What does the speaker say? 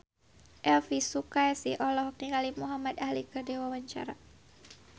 Elvy Sukaesih olohok ningali Muhamad Ali keur diwawancara